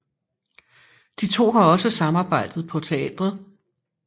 De to har også samarbejdet på teatret